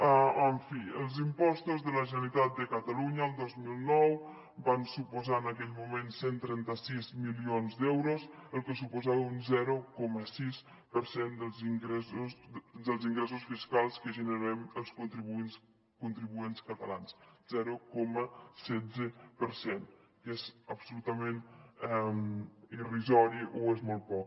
en fi els impostos de la generalitat de catalunya el dos mil nou van suposar en aquell moment cent i trenta sis milions d’euros cosa que suposava un zero coma setze per cent dels ingressos fiscals que generem els contribuents catalans zero coma setze per cent que és absolutament irrisori o és molt poc